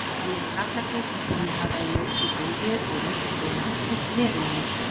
Teljast gallar þeir, sem komið hafa í ljós í gólfi og undirstöðum hússins, verulegir?